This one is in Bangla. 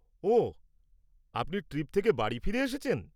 ওঃ, আপনি ট্রিপ থেকে বাড়ি ফিরে এসেছেন?